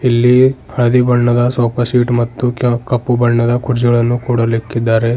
ಇಲ್ಲಿ ಹಳದಿ ಬಣ್ಣದ ಸೋಫಾ ಸೆಟ್ ಮತ್ತು ಕೆ ಕಪ್ಪು ಬಣ್ಣದ ಕುರ್ಚಿಗಳನ್ನು ಕೂಡ ಅಲ್ಲಿ ಇಕ್ಕಿದ್ದಾರೆ.